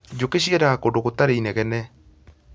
Njũkĩ ciendaga kũndũ gũtarĩ inegene